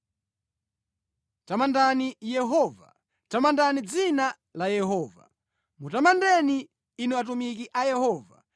Tamandani Yehova. Tamandani dzina la Yehova; mutamandeni, inu atumiki a Yehova,